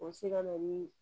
O bɛ se ka na ni